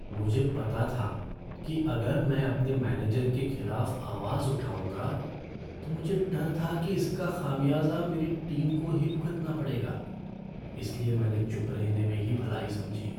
मुझे पता था कि अगर मैं अपने मैनेजर के खिलाफ़ आवाज़ उठाऊंगा, तो मुझे डर था कि इसका खामियाजा मेरी टीम को ही भुगतना पड़ेगा, इसलिए मैंने चुप रहने में ही भलाई समझी।